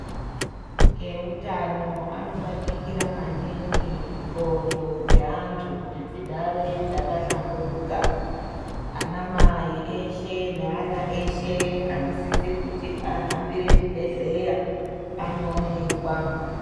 Eutano anobatikira mandingi ndxondo dzeantu kuti dzigare dzakahlamburuka ana mai eshe naana eshe anosise kuti ahambire chibhedhleya anoonekwa.